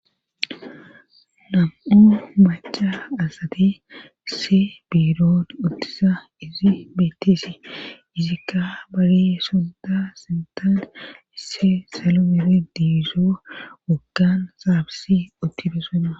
Nam'o macha asati isse birood uttisa izi betteesi izikka bare sodda sintan isse salo biri diizoo wokan saabisi uttide soda